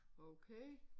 Okay